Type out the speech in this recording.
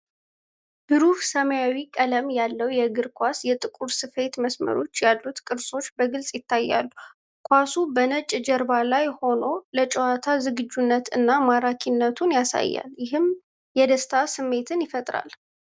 ብሩህ ሰማያዊ ቀለም ያለው የእግር ኳስ፤ የጥቁር ስፌት መስመሮች ያሉት ቅርጾች በግልጽ ይታያሉ። ኳሱ በነጭ ጀርባ ላይ ሆኖ፤ ለጨዋታ ዝግጁነቱን እና ማራኪነቱን ያሳያል። ይህም የደስታ ስሜትን ያጭራል።